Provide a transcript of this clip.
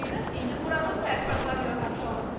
İndi Muradın təəssüratları ilə tanış olaq.